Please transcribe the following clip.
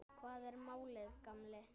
Hvað er málið, gamli?